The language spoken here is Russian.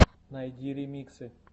найди ремиксы